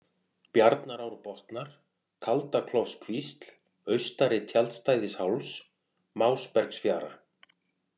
Bjarnarárbotnar, Kaldaklofskvísl, Austari-Tjaldstæðisháls, Másbergsfjara